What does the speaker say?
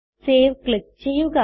save click ചെയ്യുക